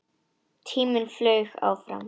Tíminn flaug áfram.